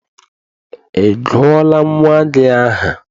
Ị gụọla nnwa gị aha?